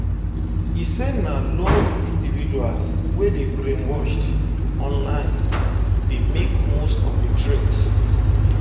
e say na lone individuals wey dey brainwashed online dey make most of di threat